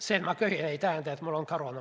See, et ma köhin, ei tähenda, et mul on koroona.